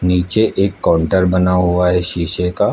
नीचे एक काउंटर बना हुआ है इस शीशे का--